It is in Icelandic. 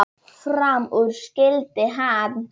Fram úr skyldi hann.